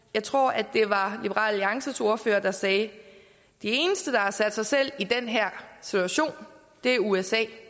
jeg tror at det var liberal alliances ordfører der sagde at de eneste der har sat sig selv i den her situation er usa